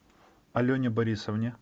алене борисовне